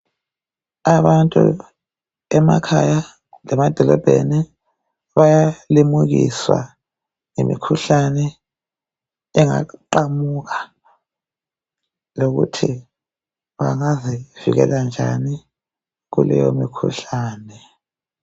Abantu emakhaya lemadolobheni bayalimukiswa ngemikhuhlane engaqamuka lokuthi bangazivikela njani kuleyo mikhuhlane.